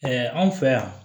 anw fɛ yan